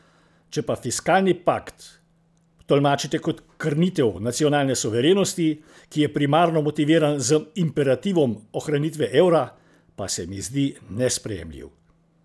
Če pa fiskalni pakt tolmačite kot krnitev nacionalne suverenosti, ki je primarno motiviran z imperativom ohranitve evra, pa se mi zdi nesprejemljiv.